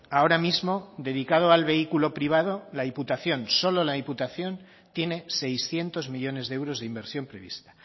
ahora mismo dedicado al vehículo privado la diputación solo la diputación tiene seiscientos millónes de euros de inversión prevista